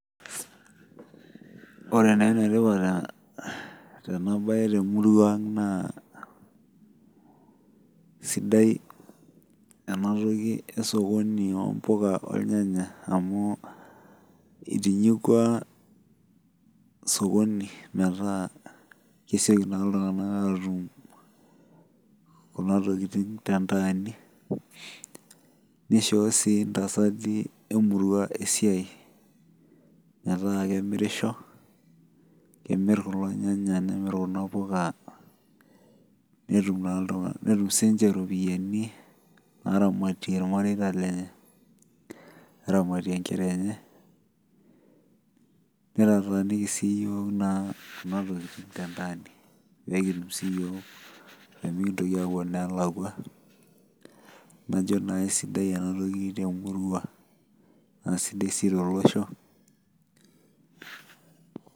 enetipat enabae temuruang' naa sidai enatoki esokoni oo impuka amu itinyikua sokoni metaa kesioki naa iltung'anak atum kuna tokitin nishoo sii intasati emurua esiai metaa kemirisho, kemir kulo nyanya nemir kuna impuka netum sii niche iropiyiani naaramatie najo naa kisidai enatoki tenamuruang' naa sidai sii tolosho.